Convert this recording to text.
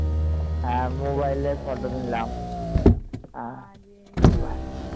হ্যাঁ mobile এ photo নিলাম